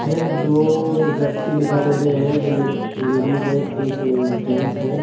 यह दो व्यक्ति दिखाई दे रहे हैं जो एक लेडिस है एक जेंट्स है।